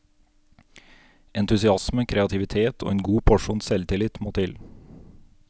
Entusiasme, kreativitet og en god porsjon selvtillit må til.